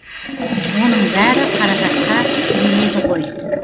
оның бәрі қаражатқа тіреледі ғой